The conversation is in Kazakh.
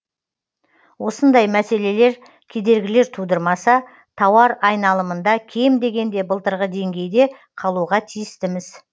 осындай мәселелер кедергілер тудырмаса тауар айналымында кем дегенде былтырғы деңгейде қалуға тіистіміз